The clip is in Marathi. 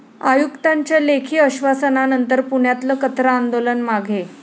आयुक्तांच्या लेखी आश्वासनानंतर पुण्यातलं कचरा आंदोलन मागे